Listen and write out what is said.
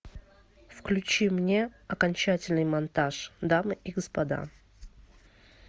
включи мне окончательный монтаж дамы и господа